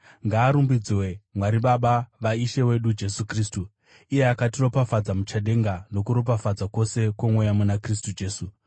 Ngaarumbidzwe Mwari Baba vaIshe wedu Jesu Kristu, iye akatiropafadza muchadenga nokuropafadza kwose kwomweya muna Kristu Jesu.